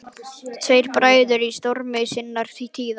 Tveir bræður í stormi sinnar tíðar.